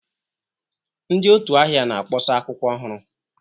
Ndị otu ahịa na-akpọsa akwụkwọ ọhụrụ.